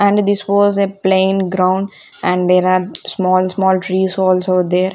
and this was a plain ground and there are small small trees also there.